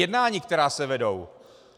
Jednání, která se vedou.